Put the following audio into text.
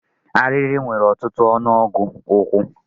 Arịrị nwere ọtụtụ ọnụọgụ ụkwụ.